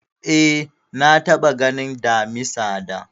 Eh, na taɓa ganin Damisa da